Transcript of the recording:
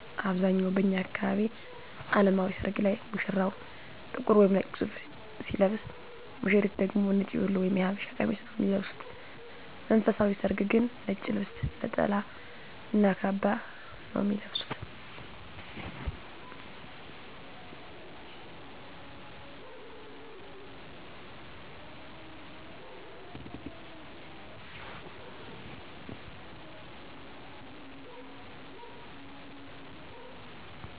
አብዛኛው በእኛ አካባቢ አለማዊ ሰርግ ላይ ሙሽራው ጥቁር ወይም ነጭ ሱፍ ሲለብስ ሙሽሪት ደግሞ ነጭ ቤሎ ወይም የሐበሻ ቀሚስ ነው ሚለብሱት። መንፈሳዊ ሰርግ ግን ነጭ ልብስ ነጠላ እና ካባ ነው ሚለብሱት።